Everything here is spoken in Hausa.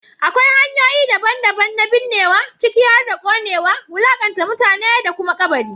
Akwai hanyoyi daban-daban na binnewa, ciki har da ƙonewa, wulaƙanta mutane, da kuma kabari.